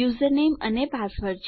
username અને password છે